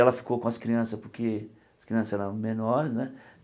Ela ficou com as crianças, porque as crianças eram menores né.